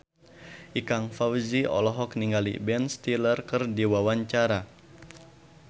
Ikang Fawzi olohok ningali Ben Stiller keur diwawancara